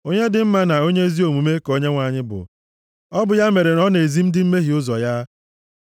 Onye dị mma na onye ezi omume ka Onyenwe anyị bụ; ọ bụ ya mere ọ na-ezi ndị mmehie ụzọ ya.